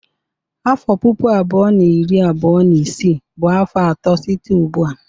Afọ puku abụọ na iri abuo na isii bụ afọ atọ site ugbu a.